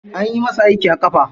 Anyi masa aiki a ƙafa.